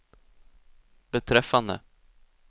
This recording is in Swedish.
beträffande